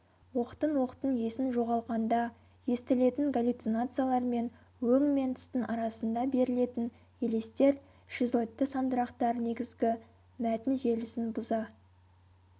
оқтын-оқтын есін жоғалқанда естілетін галлюцинациялар мен өң мен түстің арасында берілетін елестер шизоидты сандырақтар негізгі мәтін желісін бұза